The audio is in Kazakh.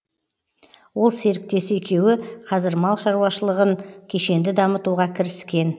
ол серіктесі екеуі қазір мал шаруашылығын кешенді дамытуға кіріскен